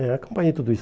É, acompanhei tudo isso.